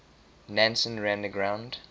nansen ran aground